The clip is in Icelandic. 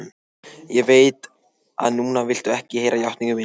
Ég veit að núna viltu ekki heyra játningu mína.